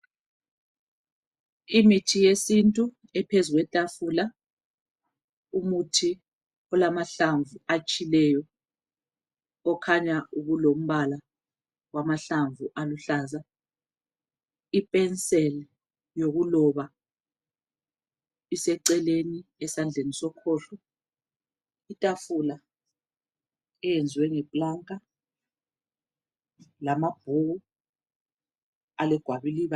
Imithi yesintu ephezu kwetafula, umuthi olamahlamvu atshileyo, okhanya ubulombala wamahlamvu aluhlaza. Ipenseli yokuloba iseceleni esandleni sokhohlo, itafula eyenziwe ngeplanka, lamabhuku alegwaliba